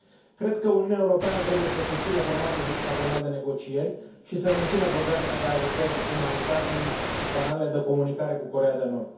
Cred că Uniunea Europeană trebuie să susțină formatul hexagonal de negocieri și să mențină programele de ajutor umanitar și canalele de comunicare cu Coreea de Nord.